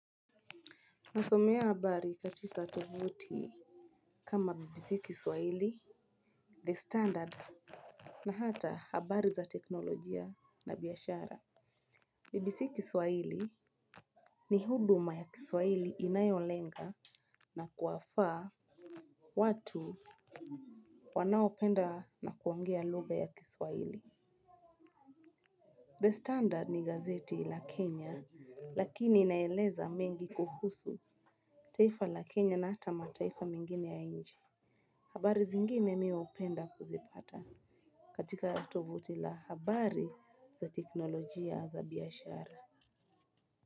Nasomea habari katika tovuti kama BBC kiswaili, the standard na hata habari za teknolojia na biashara BBC kiswaili ni huduma ya kiswaili inayolenga na kuwafaa watu wanaopenda na kuongea luga ya kiswaili The standard ni gazeti la Kenya lakini inaeleza mengi kuhusu taifa la Kenya na hata mataifa mengine ya inje habari zingine mi upenda kuzipata katika tovuti la habari za teknolojia za biashara.